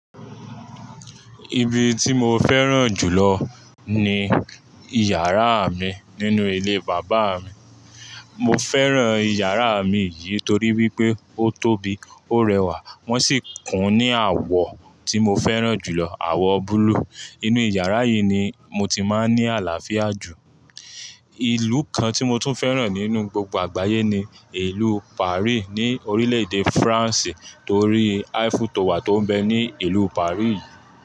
Ibi tí mo fẹ́ràn jù lọ ni yàrá mi nínú ilé bàbá mi. Mo fẹ́ràn yàrá mi yìí torí wípé ó tóbi, ó rẹwà, wọ́n sì kún ní àwọ̀ tí mo fẹ́ràn jù lọ, àwọ̀ búlúù. Inú yàrá yìí ni mo ti máa ń ní àlàáfíà jù. Ìlú kan tí mo tún fẹ́ràn nínú gbogbo àgbáyé ni ìlú Paris ní orílẹ̀-èdè Francé torí Eiffel Tower tó ń bẹ ní ìlú Paris.